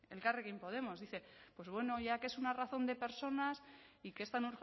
elkarrekin podemos dice pues bueno ya que es una razón de personas y que es tan